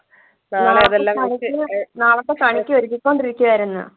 നാളത്തെ പണിക്ക് ഒരുങ്ങികൊണ്ടിരിക്കയായിരുന്നു